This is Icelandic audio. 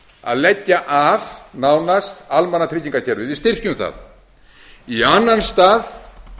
að leggja af nánast almannatryggingakerfið við styrkjum það í annan stað